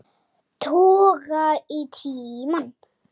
Toga í tímann.